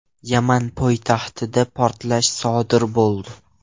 Yaman poytaxtida portlash sodir bo‘ldi.